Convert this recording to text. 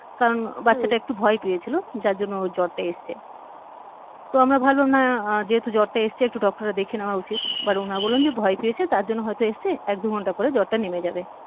কারণ হম বাচ্চাটা একটু ভয় পেয়েছিল যার জন্য ওর জ্বরটা এসছে তো আমরা ভাবলাম না যেহেতু জ্বরটা এসছে একটু doctor কে দেখিয়ে নেওয়া উচিত but উনারা বললেন যে ভয় পেয়েছে তার জন্যে হয়ত এসছে এক দু ঘন্টা পরে জ্বরটা নেমে যাবে